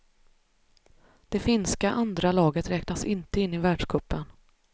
Det finska andra laget räknas inte in i världscupen.